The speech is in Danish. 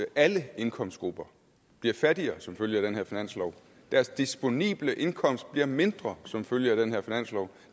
alle indkomstgrupper bliver fattigere som følge af den her finanslov deres disponible indkomst bliver mindre som følge af den her finanslov